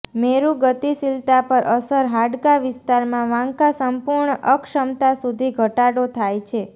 મેરૂ ગતિશીલતા પર અસર હાડકા વિસ્તારમાં વાંકા સંપૂર્ણ અક્ષમતા સુધી ઘટાડો થાય છે